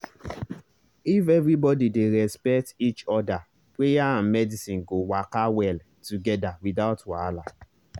if everybody dey respect each other prayer and medicine go waka well together without wahala.